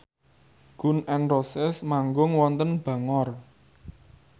Gun n Roses manggung wonten Bangor